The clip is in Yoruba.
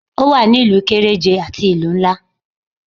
O wa ní ìlú kéréje àti ìlú nlá